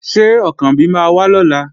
Ṣé Ọ̀kànbí máa wá lọ́la?